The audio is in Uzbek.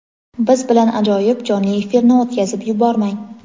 Biz bilan ajoyib jonli efirni o‘tkazib yubormang.